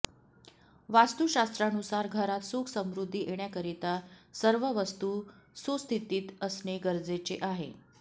वास्तुशास्त्रानुसार घरात सुख समृद्धी येण्याकरीता सर्व वस्तू सुस्थितीत असणे गरजेचे आहे